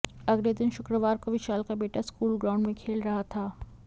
अगले दिन शुक्रवार को विशाल का बेटा स्कूल ग्राउंड में खेल रहा था